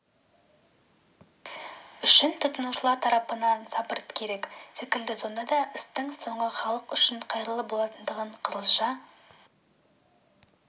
үшін тұтынушылар тарапынан сабыр да керек секілді сонда істің соңы халық үшін қайырлы болатындығына қызылша